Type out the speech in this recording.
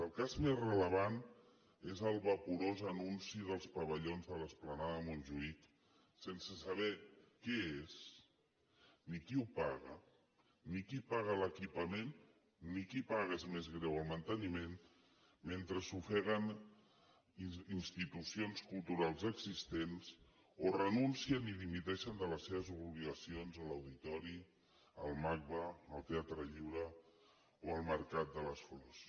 el cas més rellevant és el vaporós anunci dels pavellons de l’esplanada de montjuïc sense saber què és ni qui ho paga ni qui paga l’equipament ni qui paga és més greu el manteniment mentre s’ofeguen institucions culturals existents o renuncien i dimiteixen de les seves obligacions a l’auditori al macba al teatre lliure o al mercat de les flors